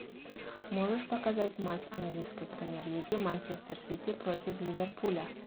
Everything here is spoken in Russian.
можешь показать матч английской премьер лиги манчестер сити против ливерпуля